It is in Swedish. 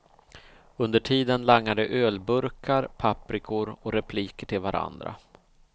Under tiden langar de ölburkar, paprikor och repliker till varandra.